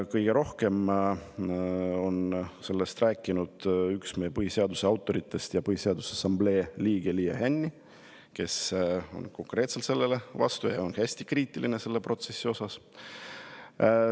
Kõige rohkem on sellest rääkinud üks meie põhiseaduse autoritest ja Põhiseaduse Assamblee liige Liia Hänni, kes on konkreetselt sellele vastu ja on hästi kriitiline selle protsessi suhtes.